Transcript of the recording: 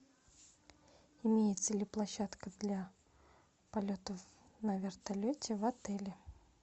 имеется ли площадка для полетов на вертолете в отеле